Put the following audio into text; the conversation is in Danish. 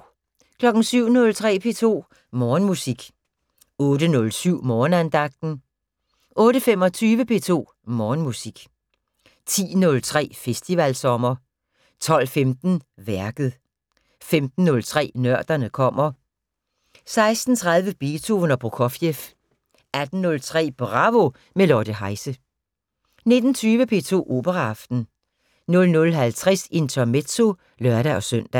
07:03: P2 Morgenmusik 08:07: Morgenandagten 08:25: P2 Morgenmusik 10:03: Festivalsommer 12:15: Værket 15:03: Nørderne kommer 16:30: Beethoven og Prokofjev 18:03: Bravo – med Lotte Heise 19:20: P2 Operaaften 00:50: Intermezzo (lør-søn)